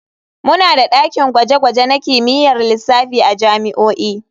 Muna da dakin gwaje-gwaje na kimiyyar lissafi a jami'o'i.